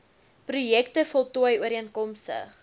projekte voltooi ooreenkomstig